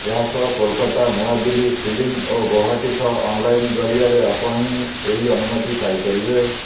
ଏହାସହ କୋଲକାତା ନୂଆଦିଲ୍ଲୀ ସିଂଲି ଓ ଗୌହାଟୀ ସହ ଅନଲାଇନ୍ ଜରିଆରେ ଆପଣ ଏହି ଅନୁମତି ପାଇପାରିବେ